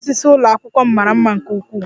Mkpụrụ osisi ụlọ akwụkwọ m mara mma nke ukwuu